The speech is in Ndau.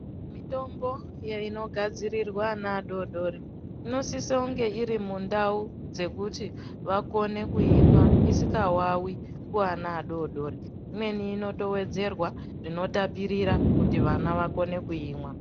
Mitombo inogadzirirwa ana adoodori inosisa kunge iri mundau dzekuti vakone kuimwa isikawawi kuana adodoori, imweni inotowedzerwa zvinotapirira kuti vana vakone kuimwa.